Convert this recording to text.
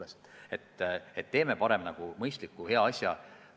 Seega teeme parem mõistliku hea asja!